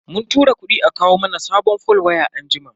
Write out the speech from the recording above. Mun tura kudi a kawo mana sabon fol waya anjima.